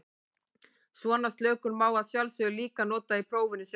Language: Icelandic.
Svona slökun má að sjálfsögðu líka nota í prófinu sjálfu.